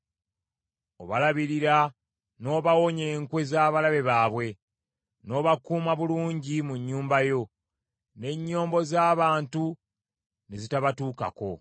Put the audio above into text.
Obalabirira n’obawonya enkwe z’abalabe baabwe, n’obakuuma bulungi mu nnyumba yo, n’ennyombo z’abantu ne zitabatuukako.